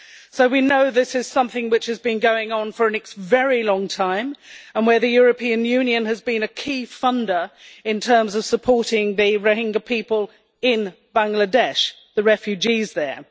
So we know this is something which has been going on for a very long time and where the European Union has been a key funder in terms of supporting the Rohingya people in Bangladesh the refugees there.